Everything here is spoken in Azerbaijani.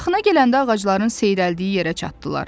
Yaxına gələndə ağacların seyrəldiyi yerə çatdılar.